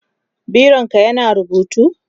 bironka ya na rubutu?